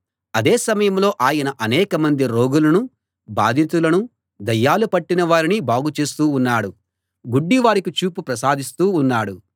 అదే సమయంలో ఆయన అనేకమంది రోగులనూ బాధితులనూ దయ్యాలు పట్టిన వారిని బాగు చేస్తూ ఉన్నాడు గుడ్డివారికి చూపు ప్రసాదిస్తూ ఉన్నాడు